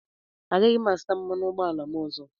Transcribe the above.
Agaghị m azụta mmanụ ụgbọala m ọzọ.